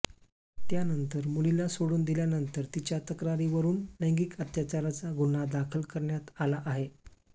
त्यानंतर मुलीला सोडून दिल्यानंतर तिच्या तक्रारीवरून लैंगिक अत्याचाराचा गुन्हा दाखल करण्यात आला आहे